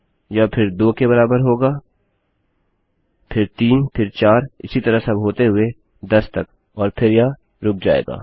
यह फिर 2 के बराबर होगा फिर 3 फिर 4 इसी तरह सब होते हुए 10 तक और फिर यह रुक जाएगा